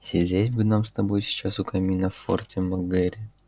сидеть бы нам с тобой сейчас у камина в форте мак гэрри